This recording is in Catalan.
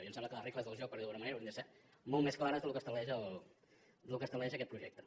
i em sembla que les regles del joc per dir ho d’alguna manera haurien de ser molt més clares del que estableix aquest projecte